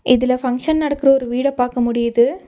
இதுல ஃபங்ஷன் நடக்குற ஒரு வீட பாக்க முடியுது.